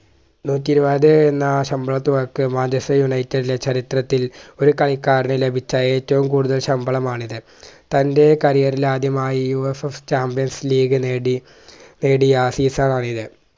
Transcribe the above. നൂറ്റിഇരുപത് എന്ന ശമ്പളത്തിൽ workmanchesterunited ലെ ചരിത്രത്തിൽ ഒരു കളിക്കാരന് ലഭിച്ച ഏറ്റവും കൂടുതൽ ശമ്പളം ആണിത് തന്റെ career ഇൽ ആദ്യമായി UFFchampions league നേടി നേടിയ season ആണിത്